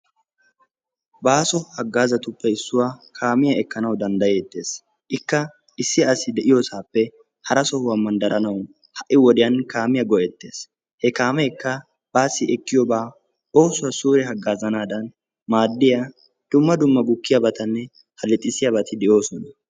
Baaso hagaazatuppe issuwa kaamiya ekkanawu danddayetees. issi sohuwape hara sohuwa baanawu kaamiya go'eetees. H kaameekka baasi ekkiyaba dumma dumma halixxisiyabata naagees.